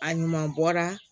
A ɲuman bɔra